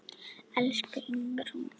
Elsku Ingrún.